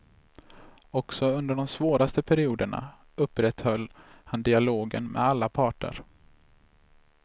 Också under de svåraste perioderna upprätthöll han dialogen med alla parter.